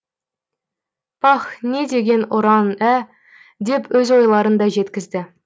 пах не деген ұран ә деп өз ойларын да жеткізді